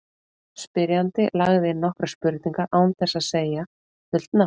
Spyrjandi lagði inn nokkrar spurningar án þess að segja fullt nafn.